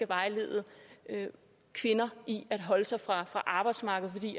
vejleder kvinder i at holde sig fra arbejdsmarkedet fordi